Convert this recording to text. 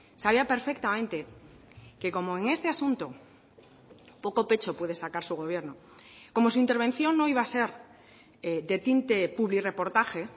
sabía perfectamente que como en este asunto poco pecho puede sacar su gobierno como su intervención no iba a ser de tinte publirreportaje